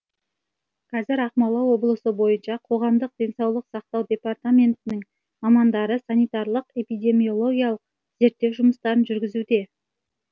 қазір ақмола облысы бойынша қоғамдық денсаулық сақтау департаментінің мамандары санитарлық эпидемиологиялық зерттеу жұмыстарын жүргізуде